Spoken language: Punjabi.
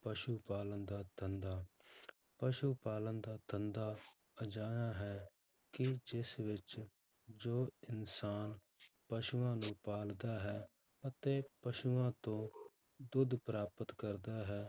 ਪਸੂ ਪਾਲਣ ਦਾ ਧੰਦਾ ਪਸੂ ਪਾਲਣ ਦਾ ਧੰਦਾ ਅਜਿਹਾ ਹੈ ਕਿ ਜਿਸ ਵਿੱਚ ਜੋ ਇਨਸਾਨ ਪਸੂਆਂ ਨੂੰ ਪਾਲਦਾ ਹੈ ਅਤੇ ਪਸੂਆਂ ਤੋਂ ਦੁੱਧ ਪ੍ਰਾਪਤ ਕਰਦਾ ਹੈ